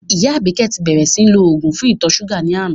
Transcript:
Ìyá Àbíkẹ́ ti bẹ́rẹ́ síì lò òògùn fún ìtọ̀ ṣúgà ní àná